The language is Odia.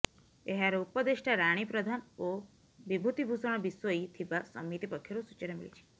ଏହାର ଉପଦେଷ୍ଟା ରାଣୀ ପ୍ରଧାନ ଓ ବିଭୁତି ଭୂଷଣ ବିଶୋଇ ଥିବା ସମିତି ପକ୍ଷରୁ ସୂଚନା ମିଳିଛି